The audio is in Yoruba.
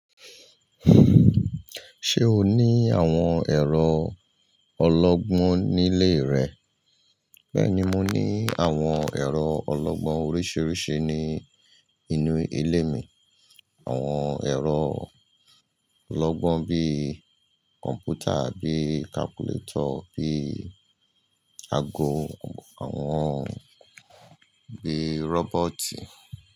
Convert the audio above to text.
Ṣé o ní àwọn ẹ̀rọ ọlọ́gbọ́n nílé rẹ? Bẹ́ẹ̀ni, mo ní àwọn ẹ̀rọ ọlọ́gbọ́n oríṣiríṣi ní inú ilé mi. Àwọn ẹ̀rọ ọlọ́gbọ́n bíi kọ̀m̀pútà, bíi kalkúletọ̀, bíi ago, àwọn bíi rọ́bọ́ọ̀tì.